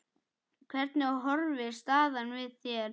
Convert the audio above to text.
Hvernig horfir staðan við þér?